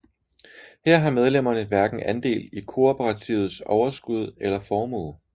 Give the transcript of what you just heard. Her har medlemmerne hverken andel i kooperativets overskud eller formue